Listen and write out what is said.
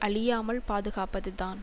அழியாமல் பாதுகாப்பதுதான்